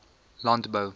landbou